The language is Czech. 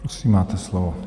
Prosím, máte slovo.